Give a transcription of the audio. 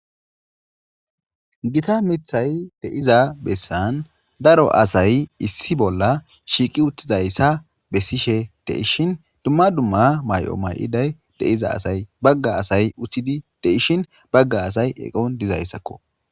gitta miththay de'iza bessan daro asay issi bolla shiiqi uttizayssa bessishshe de'ishshin dumma dumma may'o may'idday de'iza asay bagga asay uttidi de'ishshin bagga asay eqqon dizayssakko